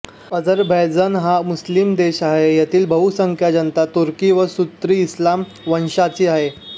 Azerbaijan हा मुस्लिम देश आहे येथील बहुसंख्य जनता तुर्की व सुन्नी इस्लाम वंशाची आहे